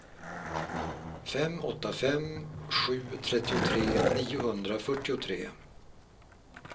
fem åtta fem sju trettiotre niohundrafyrtiotre